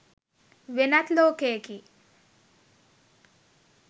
වෙනත් ලෝකයකි.